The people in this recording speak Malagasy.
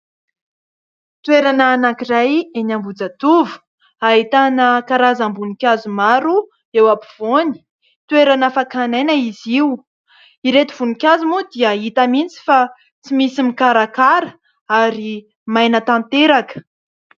Toerana anankiray eny Ambohijatovo, ahitana karazam-boninkazo maro eo ampovoany. Toerana fakana aina izy io. Ireto voninkazo moa dia hita mihitsy fa tsy misy mikarakara ary maina tanteraka.